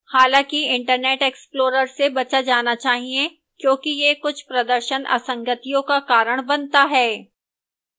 हालांकि internet explorer से बचा जाना चाहिए क्योंकि यह कुछ प्रदर्शन असंगतियों का कारण बनता है